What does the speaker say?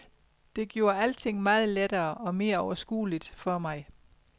Det gjorde alting meget lettere og mere overskueligt for mig.